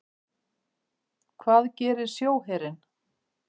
Hvað gerir sjóherinn?